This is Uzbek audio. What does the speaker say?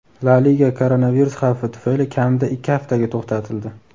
La Liga koronavirus xavfi tufayli kamida ikki haftaga to‘xtatildi.